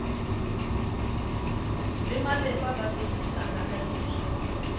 le malepa ba fedisana kadithipa